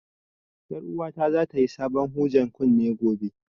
Ƴar uwata za ta yi sabon hujen kunne gobe